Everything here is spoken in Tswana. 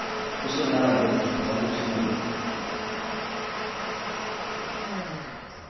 puso nababet kgotsa motho mongwe